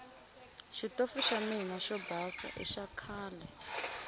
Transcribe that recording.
xitofu xa mina xo basa i xakhale